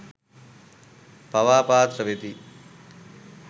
පවා පාත්‍ර වෙති.